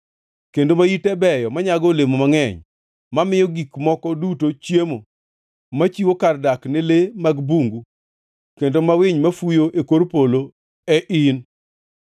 kendo ma ite beyo, manyago olemo mangʼeny, mamiyo gik moko duto chiemo, machiwo kar dak ne le mag bungu kendo ma winy mafuyo e kor polo e in.